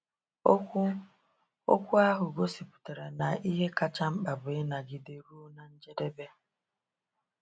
Okwu okwu ahụ gosiputara na ihe kacha mkpa bụ ‘ịnagide ruo na njedebe.’